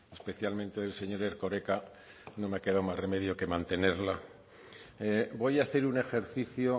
especialmente del señor erkoreka no me ha quedado más remedio que mantenerla voy a hacer un ejercicio